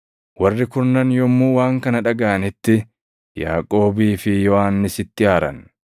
Warri kurnan yommuu waan kana dhagaʼanitti Yaaqoobii fi Yohannisitti aaran.